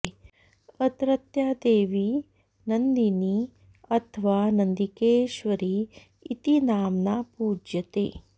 अत्रत्या देवी नन्दिनी अथवा नन्दिकेश्वरी इति नाम्ना पूज्यते